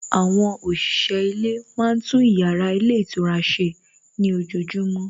Àwọn òṣìṣẹ́ ilé máa tún ìyára ilé ìtura ṣe ní ojojúmọ́